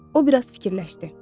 O biraz fikirləşdi.